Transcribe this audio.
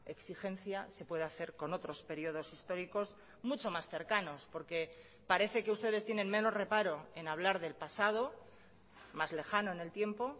exigencia se puede hacer con otros períodos históricos mucho más cercanos porque parece que ustedes tienen menos reparo en hablar del pasado más lejano en el tiempo